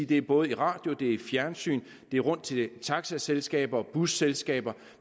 det er både i radio i fjernsyn det er rundt til taxaselskaber og busselskaber